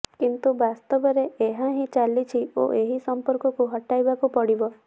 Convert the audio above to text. କିନ୍ତୁ ବାସ୍ତବରେ ଏହା ହିଁ ଚାଲିଛି ଓ ଏହି ସମ୍ପର୍କକୁ ହଟାଇବାକୁ ପଡ଼ିବ